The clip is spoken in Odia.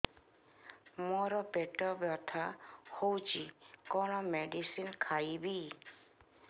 ମୋର ପେଟ ବ୍ୟଥା ହଉଚି କଣ ମେଡିସିନ ଖାଇବି